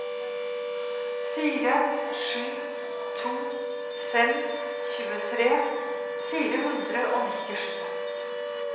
fire sju to fem tjuetre fire hundre og nittisju